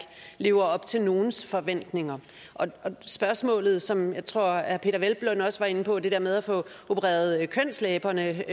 lever op til nogle forventninger og spørgsmålet som jeg tror herre peder hvelplund også var inde på altså det der med at få opereret kønslæberne